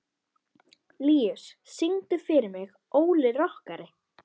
Líus, syngdu fyrir mig „Óli rokkari“.